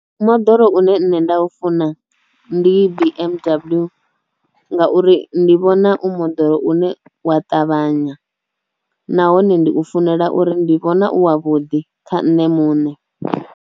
Moḓoro une nda u funa ndi B_M_W ngauri ndi vhona u moḓoro une wa ṱavhanya nahone ndi u funela uri ndi vhona u wa vhuḓi kha nṋe muṋe.